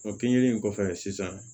O keninge in kɔfɛ sisan